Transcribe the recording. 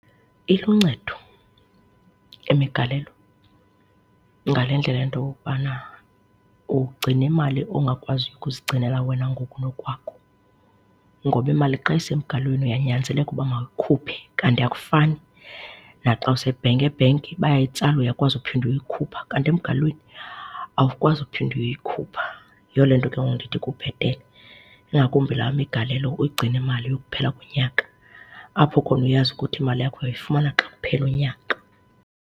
Iluncedo imigalelo ngale ndlela yento okokubana ugcine imali ongakwaziyo ukuzigcinela wena ngokunokwakho. Ngoba imali xa isemgalelweni uyanyanzeleka uba mawuyikhuphe kanti akufani naxa use-bank. E-bank bayayitsala uyakwazi ukuphinda uyoyikhupha kanti emgalelweni awukwazi uphinda uyoyikhupha. Yiyo le nto ke ngoku ndithi kubhetele ingakumbi laa migalelo uyigcina imali kuyokuphela unyaka, apho khona uyazi ukuthi imali yakho uyoyifumana xa kuphela unyaka.